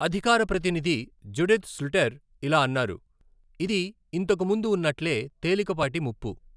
అధికార ప్రతినిధి Judith Sluiter ఇలా అన్నారు, 'ఇది ఇంతకు ముందు ఉన్నట్లే, తేలికపాటి ముప్పు.